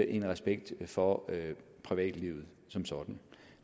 en respekt for privatlivet som sådan